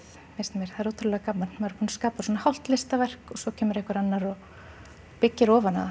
finnst mér það er ótrúlega gaman maður skapa svona hálft listaverk og svo kemur einhver annar og byggir ofan á